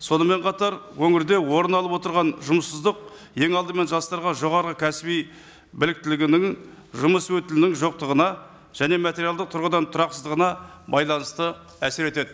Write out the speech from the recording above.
сонымен қатар өңірде орын алып отырған жұмыссыздық ең алдымен жастарға жоғарғы кәсіби біліктілігінің жұмыс өтілінің жоқтығына және материалдық тұрғыдан тұрақсызыдығына байланысты әсер етеді